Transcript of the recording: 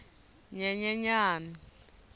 nyenyenyani